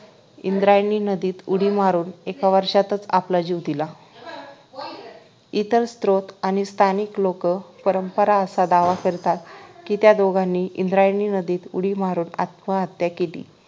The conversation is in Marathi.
इंद्रायणी नदीत उडी मारून एका वर्षातच आपला जीव दिला इतर स्रोत आणि स्थानिक लोक परंपरा आसा दावा करतात कि त्या दोघांनी इंद्रायणी नदीत उडी मारून आत्महत्या केली